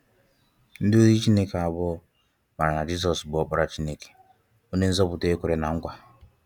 Ndi ozi Chineke abụọ maara na Jizọs bụ Ọkpara Chineke, onye Nzọpụta e kwere na nkwa.